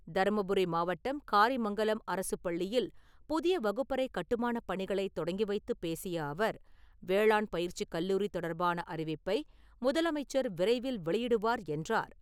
தருமபுரி மாவட்டம் காரிமங்கலம் அரசுப் பள்ளியில் புதிய வகுப்பறை கட்டுமானப் பணிகளை தொடங்கி வைத்து பேசிய அவர், வேளாண் பயிற்சிக் கல்லூரி தொடர்பான அறிவிப்பை முதலமைச்சர் விரைவில் வெளியிடுவார் என்றார்.